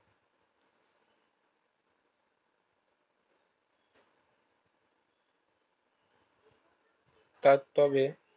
তারতবে